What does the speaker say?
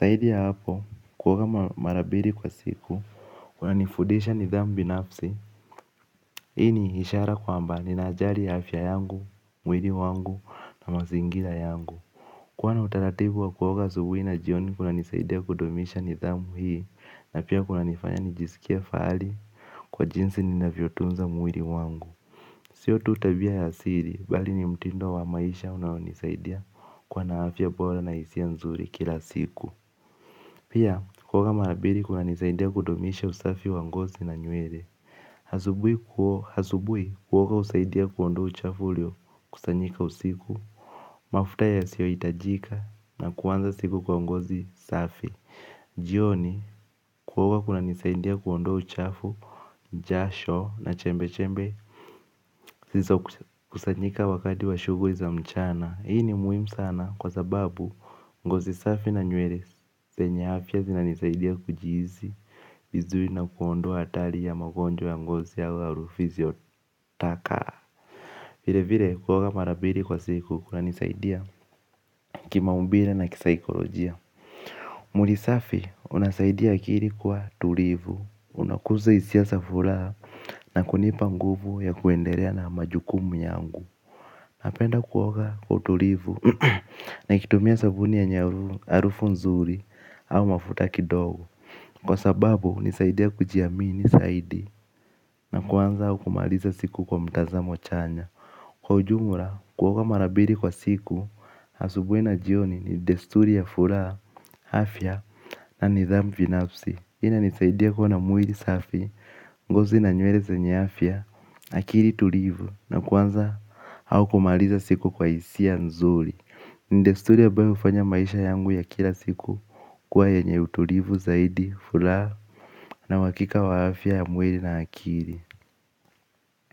zaidi ya hapo, kuoga mara mbili kwa siku kunanifundisha nidhamu binafsi hii ni ishara kwamba ninajari afya yangu, mwili wangu na mazingira yangu, kwani utaratibu wa kuoga asubuhi na jioni kuna nisaidia kudumisha nidhamu hii na pia kuna nifanya nijisikie fahali kwa jinsi ninavyotunza mwili wangu. Sio tu tabia ya siri bali ni mtindo wa maisha unaonisaidia kuwa na afya bora na hisia nzuri kila siku. Pia kuoga mara mbili kuna nisaidia kudumisha usafi wa ngozi na nywele. Asubuhi kuoga husaidia kuondoa uchafu ulio kusanyika usiku mafuta yasiohitajika na kuanza siku kwa ngozi safi. Jioni, kuoga kunanisaidia kuondoa uchafu, jasho na chembe chembe zilizo kusanyika wakati wa shughuli za mchana. Hii ni muhimu sana kwa sababu ngozi safi na nywele zenye afya zinanisaidia kujihisi vizuri na kuondoa hatari ya magonjwa ya ngozi au harufu isiotaka. Vile vile kuoga mara mbili kwa siku kunanisaidia kimaumbile na kisaikolojia. Mwili safi unasaidia akili kuwa tulivu. Unakuza hisia za furaha na kunipa nguvu ya kuendelea na majukumu yangu. Napenda kuoga kwa utulivu ni kitumia sabuni yenye harufu nzuri au mafuta kidogo, kwa sababu hunisaidia kujiamini zaidi na kuanza au kumaliza siku kwa mtazamo chanya. Kwa ujumla kuoga mara mbili kwa siku. Asubuhi na jioni ni desturi ya furaha, afya na nidhamu binafsi. Hii ina nisaidia kuwa mwili safi. Ngozi na nywele zenye afya, akili tulivu na kuanza au kumaliza siku kwa hisia nzuri. Ni desturi ambayo hufanya maisha yangu ya kila siku kuwa yenye utulivu zaidi furaha na uhakika wa afya ya mwili na akili.